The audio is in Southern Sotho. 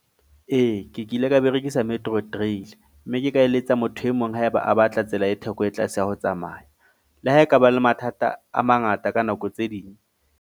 Ee, ke kile ka berekisa Metro trail. Mme ke ka eletsa motho e mong haeba a batla tsela e theko e tlase ya ho tsamaya. Le ha ekaba le mathata a mangata ka nako tse ding.